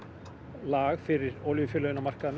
lag fyrir olíufélögin